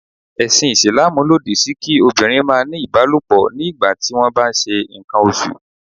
Ẹ̀sìn Ìsìlámù lòdì sí kí obìnrin máa ní ìbálòpọ̀ ní ìgbà tí wón ń bá ṣe ǹkan oṣù.